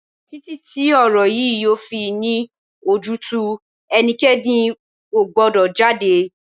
Títí ti ọ̀rọ̀ yìí yóò fi ní ojútùú, ẹnikẹ́ni ò gbọ́dọ̀ jáde!